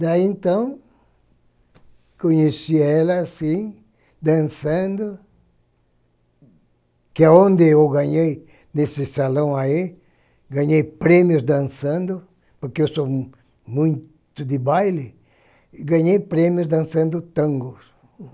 Daí, então, conheci ela assim, dançando, que é onde eu ganhei, nesse salão aí, ganhei prêmios dançando, porque eu sou muito de baile, ganhei prêmios dançando tango.